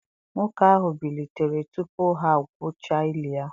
Nwoke ahụ bilitere tupu ha gwuchaa ili ya.